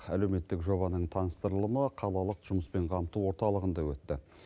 әлеуметтік жобаның таныстырылымы қалалық жұмыспен қамту орталығында өтті